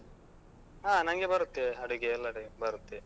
ಹಾ ನಂಗೆ ಬರುತ್ತೆ, ಅಡುಗೆ ಎಲ್ಲ type ಬರುತ್ತೆ.